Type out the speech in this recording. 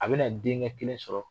A bɛ na denkɛ kelen sɔrɔ.